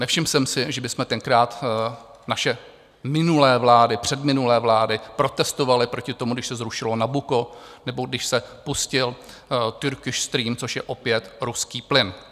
Nevšiml jsem si, že bychom tenkrát - naše minulé vlády, předminulé vlády - protestovali proti tomu, když se zrušilo Nabucco nebo když se pustil Turkish Stream, což je opět ruský plyn.